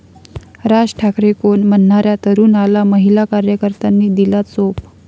राज ठाकरे कोण?' म्हणणाऱ्या तरुणाला महिला कार्यकर्त्यांनी दिला चोप